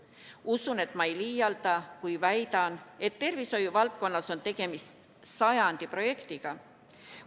Usun, et ma ei liialda, kui väidan, et tervishoiu valdkonnas on tegemist sajandi projektiga.